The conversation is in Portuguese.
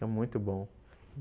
muito bom.